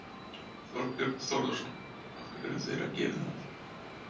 Þorbjörn Þórðarson: Af hverju þurfa þeir að gera það?